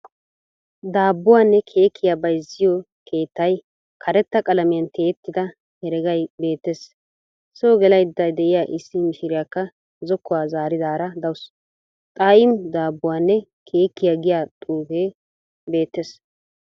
Daabbuwanne keekkiya bayizziyo keettay karetta qalamiyan tiyettida heregay beettes. Soo gelayidda diya issi mishiriyakka zokkuwa zaaridaara dawusu. " Xaa"I'm daabbuwanne keekkiya" giya xuufee beettes.